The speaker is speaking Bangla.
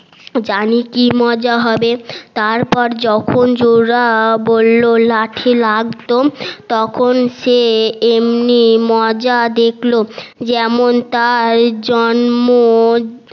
জানি কি মজা হবে তারপর যখন জোলা বললো লাঠি লাগতো তখন সে এমনি মজা দেখলো যেমন তার জন্ম